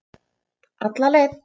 Alla leið.